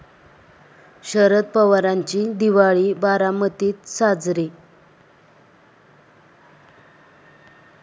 शरद पवारांची दिवाळी बारामतीत साजरी